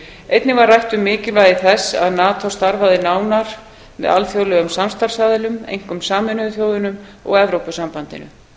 einnig var rætt um mikilvægi þess að nato starfaði nánar með alþjóðlegum samstarfsaðilum einkum sameinuðu þjóðunum og evrópusambandinu